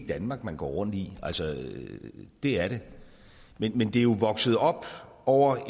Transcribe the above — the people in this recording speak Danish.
danmark man går rundt i altså det er det men men det er jo vokset op over